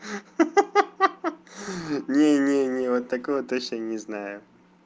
ха-ха не не не вот такого точно не знаю